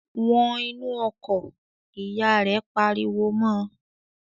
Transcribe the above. "Wọn inú ọkọ̀!" Ìyá rẹ̀ pariwo mọ́ ọ.